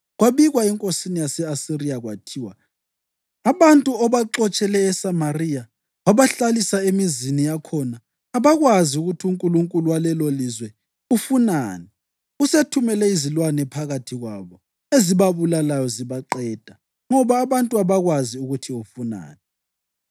Kwabikwa enkosini yase-Asiriya kwathiwa, “Abantu obaxotshele eSamariya wabahlalisa emizini yakhona abakwazi ukuthi unkulunkulu walelolizwe ufunani. Usethumele izilwane phakathi kwabo, ezibabulalayo zibaqeda, ngoba abantu abakwazi ukuthi ufunani.”